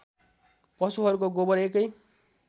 पशुहरूको गोबर एकै